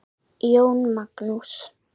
Jón Magnús.